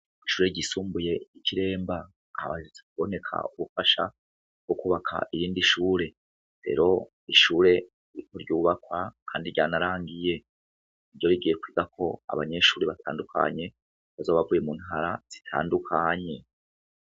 Kw'ishure ryisumbuye ry'i Kiremba haherutse kuboneka ubufasha bwo kwubaka iyindi shure. rero ishure ririko ryubakwa kandi ryanarangiye. Iryo rigiye kwigako abanyeshure batandukanye bazoba bavuye mu ntara zitandukanye.